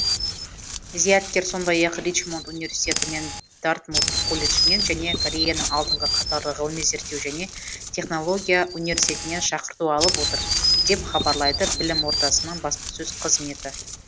зияткер сондай ақ ричмонд университеті мен дартмут колледжінен және кореяның алдыңғы қатарлы ғылыми зерттеу және технология университетінен шақырту алып отыр деп хабарлайды білім ордасының баспасөз қызметі